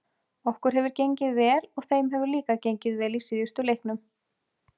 Okkur hefur gengið vel og þeim hefur líka gengið vel í síðustu leiknum.